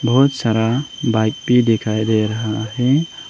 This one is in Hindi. बहुत सारा बाइक भी दिखाई दे रहा है।